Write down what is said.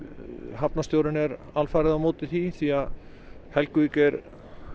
hafnarstjórinn er alfarið á móti því því Helguvík er